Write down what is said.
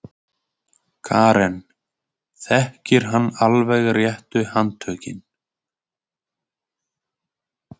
Karen: Þekkir hann alveg réttu handtökin?